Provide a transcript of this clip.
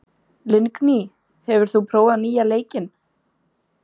Lingný, hefur þú prófað nýja leikinn?